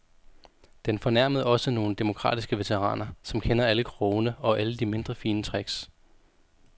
Den fornærmede også nogle demokratiske veteraner, som kender alle krogene og alle de mindre fine tricks.